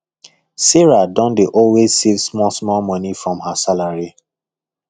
sarah don dey always save small small money from her salary